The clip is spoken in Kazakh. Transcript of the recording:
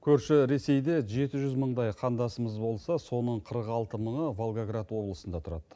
көрші ресейде жеті жүз мыңдай қандасымыз болса соның қырық алты мыңы волгоград облысында тұрады